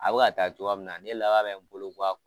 A bɛ ka taa cogoya min na ne laban bɛ n bolo